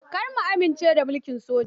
Kar ku amince da mulkin soja.